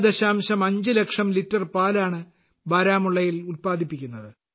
5 ലക്ഷം ലിറ്റർ പാലാണ് ബാരാമുള്ളയിൽ ഉൽപ്പാദിപ്പിക്കുന്നത്